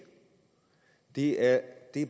det er